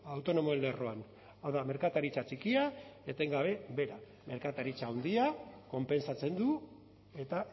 autonomoen lerroan hau da merkataritza txikia etengabe behera merkataritza handiak konpentsatzen du eta